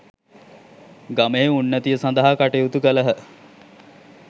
ගමෙහි උන්නතිය සඳහා කටයුතු කළහ.